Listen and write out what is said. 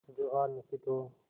जो हार निश्चित हो